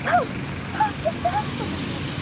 Páll, viltu hoppa með mér?